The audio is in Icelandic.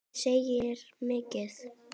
Það segir mikið.